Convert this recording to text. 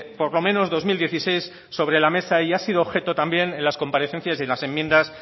por lo menos dos mil dieciséis sobre la mesa y ha sido objeto también en las comparecencias y en las enmiendas